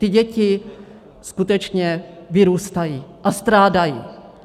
Ty děti skutečně vyrůstají a strádají.